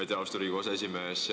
Aitäh, austatud Riigikogu aseesimees!